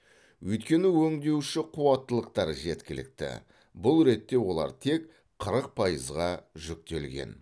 өйткені өңдеуші қуаттылықтар жеткілікті бұл ретте олар тек қырық пайызға жүктелген